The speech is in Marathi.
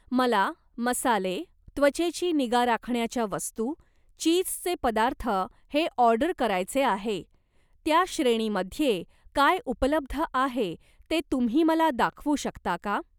मला मसाले, त्वचेची निगा राखण्याच्या वस्तू, चीजचे पदार्थ हे ऑर्डर करायचे आहे, त्या श्रेणीमध्ये काय उपलब्ध आहे ते तुम्ही मला दाखवू शकता का?